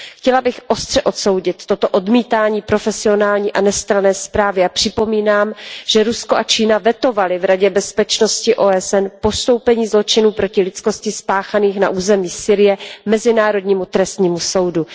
Chtěla bych ostře odsoudit toto odmítání profesionální a nestranné zprávy a připomínám, že Rusko a Čína vetovaly v Radě bezpečnosti OSN postoupení zločinů proti lidskosti spáchaných na územích Sýrie Mezinárodnímu trestnímu soudu.